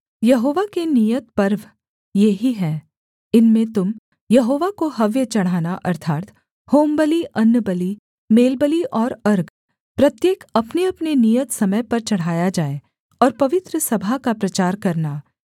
यहोवा के नियत पर्व ये ही हैं इनमें तुम यहोवा को हव्य चढ़ाना अर्थात् होमबलि अन्नबलि मेलबलि और अर्घ प्रत्येक अपनेअपने नियत समय पर चढ़ाया जाए और पवित्र सभा का प्रचार करना